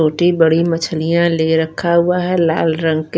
छोटी बड़ी मछलिया ले रखा हुआ है लाल रंग के--